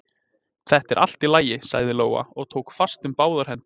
Þetta er allt í lagi, sagði Lóa og tók fast um báðar hendur